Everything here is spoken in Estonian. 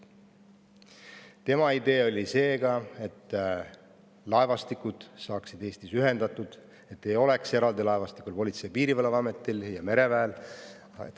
Tema idee oli selline, et laevastikud saaksid Eestis ühendatud, et ei oleks eraldi laevastikku Politsei- ja Piirivalveametil ja mereväel.